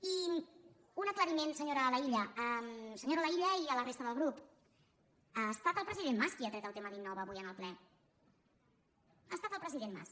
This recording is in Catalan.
i un aclariment senyora laïlla senyora laïlla i a la resta del grup ha estat el president mas qui ha tret el tema d’innova avui en el ple ha estat el president mas